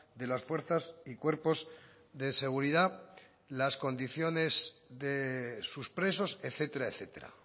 de las fuerzas y cuerpos de seguridad las condiciones de sus presos etcétera etcétera